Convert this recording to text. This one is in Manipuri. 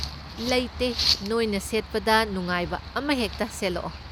ꯂꯩꯇꯦ, ꯅꯣꯏꯅ ꯁꯦꯠꯄꯗ ꯅꯨꯡꯉꯥꯏꯕ ꯑꯃꯍꯦꯛꯇ ꯁꯦꯠꯂꯛꯑꯣ!